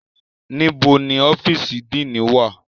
Nibo ni ọfiisi Díinì wa?